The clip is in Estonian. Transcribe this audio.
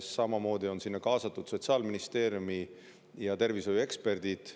Samuti on sinna juhtrühma kaasatud Sotsiaalministeeriumi tervishoiueksperdid.